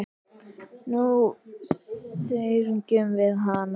Nú syrgjum við hana.